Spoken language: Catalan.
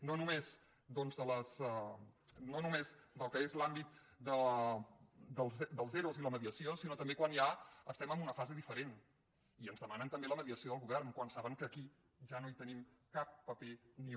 no només doncs del que és l’àmbit dels ero i la mediació sinó també quan ja estem en una fase diferent i ens demanen també la mediació del govern quan saben que aquí ja no hi tenim cap paper ni un